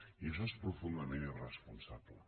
i això és profundament irresponsable